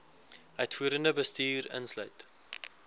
uitvoerende bestuur insluit